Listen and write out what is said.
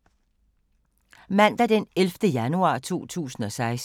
Mandag d. 11. januar 2016